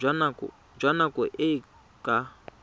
jwa nako e e ka